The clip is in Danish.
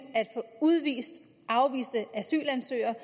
at få udvist afviste asylansøgere